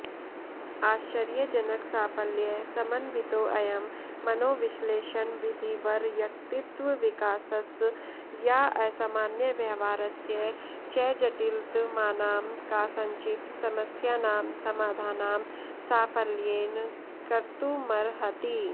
आश्चर्यजनकसाफल्य समन्वितोऽयं मनोविश्लेषणविधिर्व्यक्तित्वविकासस्याऽसामान्यव्यवहारस्य च जटिलतमानां कासाञ्चित् समस्यानां समाधानं साफल्येन कर्तुमर्हति